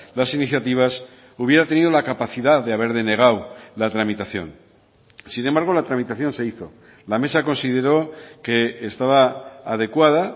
las iniciativas hubiera tenido la capacidad de haber denegado la tramitación sin embargo la tramitación se hizo la mesa consideró que estaba adecuada